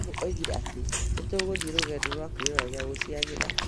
Mwarimũ oigire atĩ nĩ tũgũthiĩ rũgendo rwa kwĩrorera nyamũ cia gĩthaka